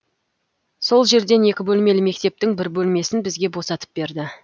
сол жерден екі бөлмелі мектептің бір бөлмесін бізге босатып берді